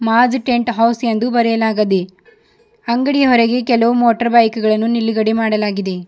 Maaz tent house ಬರೆಯಲಾಗದೆ ಅಂಗಡಿಯ ಹೊರಗೆ ಕೆಲವು ಮೋಟಾರ್ ಬೈಕ್ ಗಳನ್ನು ನಿಲುಗಡೆ ಮಾಡಲಾಗಿದೆ.